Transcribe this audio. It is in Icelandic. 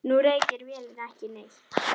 Nú reykir vélin ekki neitt.